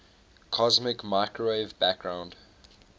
cosmic microwave background